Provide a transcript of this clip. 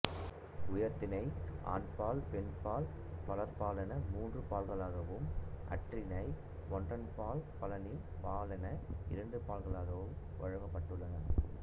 உயர்திணை ஆண்பால் பெண்பால் பலர்பாலென மூன்று பால்களாகவும் அஃறிணை ஒன்றன்பால் பலவின் பாலென இரண்டு பால்களாகவும் வகுக்கப்பட்டுள்ளன